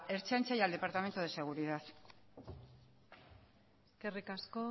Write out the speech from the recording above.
ertzaintza y al departamento de seguridad eskerrik asko